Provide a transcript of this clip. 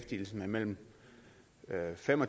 finde